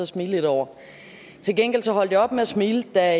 smile lidt over til gengæld holdt jeg op med at smile da